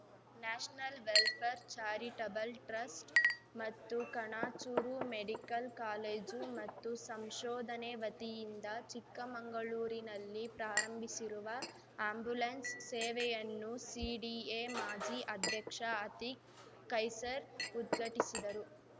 national welfare charitable trust ಮತ್ತು Kanachur medical college ಮತ್ತು ಸಂಶೋಧನೆ ವತಿಯಿಂದ ಚಿಕ್ಕಮಂಗಳೂರಿನಲ್ಲಿ ಪ್ರಾರಂಭಿಸಿರುವ ಅಂಬ್ಯುಲೆನ್ಸ್‌ ಸೇವೆಯನ್ನು ಸಿಡಿಎ ಮಾಜಿ ಅಧ್ಯಕ್ಷ ಅತಿಕ್‌ ಖೈಸರ್‌ ಉದ್ಘಟಿಸಿದರು